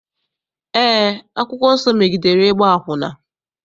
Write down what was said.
Eé, akwụkwọ nsọ megidere ịgba akwụna.